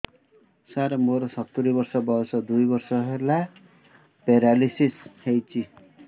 ସାର ମୋର ସତୂରୀ ବର୍ଷ ବୟସ ଦୁଇ ବର୍ଷ ହେଲା ପେରାଲିଶିଶ ହେଇଚି